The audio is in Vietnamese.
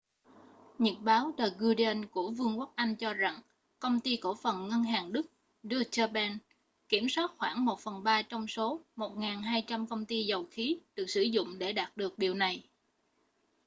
nhật báo the guardian của vương quốc anh cho rằng công ty cổ phần ngân hàng đức deutsche bank kiểm soát khoảng một phần ba trong số 1200 công ty dầu khí được sử dụng để đạt được điều này